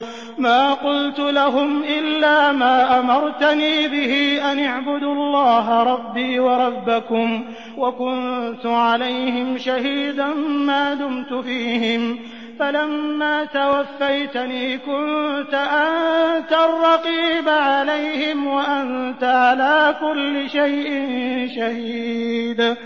مَا قُلْتُ لَهُمْ إِلَّا مَا أَمَرْتَنِي بِهِ أَنِ اعْبُدُوا اللَّهَ رَبِّي وَرَبَّكُمْ ۚ وَكُنتُ عَلَيْهِمْ شَهِيدًا مَّا دُمْتُ فِيهِمْ ۖ فَلَمَّا تَوَفَّيْتَنِي كُنتَ أَنتَ الرَّقِيبَ عَلَيْهِمْ ۚ وَأَنتَ عَلَىٰ كُلِّ شَيْءٍ شَهِيدٌ